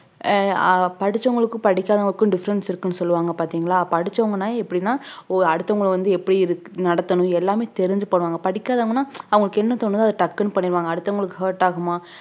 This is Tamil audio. அஹ் ஆஹ் படிச்சவங்களுக்கு படிக்காதவங்களுக்கும் difference இருக்குன்னு சொல்லுவாங்க பார்த்தீங்களா படிச்சவங்கன்னா எப்படினா அடுத்தவங்களை வந்து எப்படி இருக்~ நடத்தணும் எல்லாமே தெரிஞ்சி பண்ணுவாங்க படிக்காதவங்கனா அவங்களுக்கு என்ன தோணுதோ அத டக்குனு பண்ணிடுவாங்க அடுத்தவங்களுக்கு hurt ஆகுமா